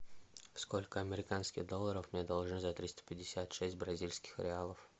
сколько американских долларов мне должны за триста пятьдесят шесть бразильских реалов